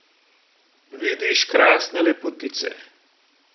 Vidiš krasne lepotice.